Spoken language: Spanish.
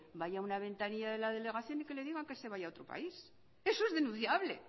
vaya una ventanilla de la delegación y que le digan que se vaya a otro país eso es denunciable